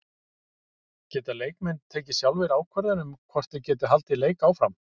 Geta leikmenn tekið sjálfir ákvörðun um hvort þeir geti haldið leik áfram?